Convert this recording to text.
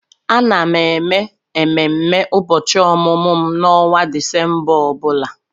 Ana m eme ememe ụbọchị ọmụmụ m n'ọnwa Disemba ọ bụla.